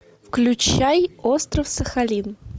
включай остров сахалин